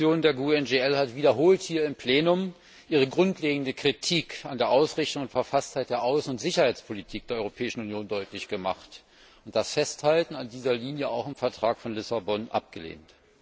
Unsere Fraktion der GUE NGL hat wiederholt hier im Plenum ihre grundlegende Kritik an der Ausrichtung und Verfasstheit der Außen und Sicherheitspolitik der Europäischen Union deutlich gemacht und das Festhalten an dieser Linie auch im Vertrag von Lissabon abgelehnt.